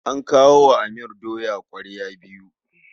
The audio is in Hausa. An kawo wa Amir doya ƙwarya biyu.